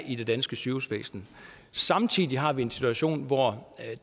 i det danske sygehusvæsen samtidig har vi jo en situation hvor